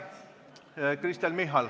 Kristen Michal.